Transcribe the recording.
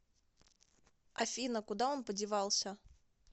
афина куда он подевался